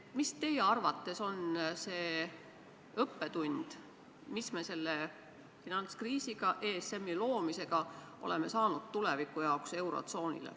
Mis on teie arvates see õppetund, mis me selle finantskriisiga ja ESM-i loomisega oleme saanud eurotsoonile tulevikuks?